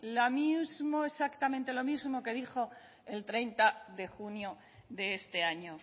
la misma exactamente lo mismo que dijo el treinta de junio de este año